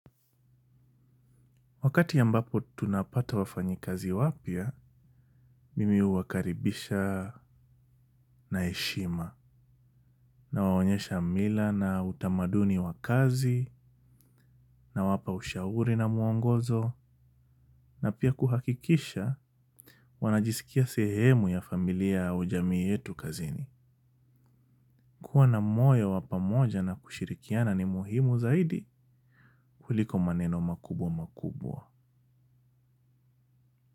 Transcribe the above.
Wakati ambapo tunapata wafanyi kazi wapya, mimi huwakaribisha na heshima, nawawonyesha mila na utamaduni wa kazi, nawapa ushauri na muongozo, na pia kuhakikisha wanajisikia sehemu ya familia ya ujamii yetu kazini. Kuwa na moyo wa pamoja na kushirikiana ni muhimu zaidi kuliko maneno makubwa makubwa.